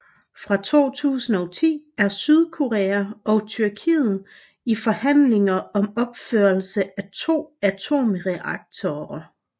Fra 2010 er Sydkorea og Tyrkiet i forhandlinger om opførelse af to atomreaktorer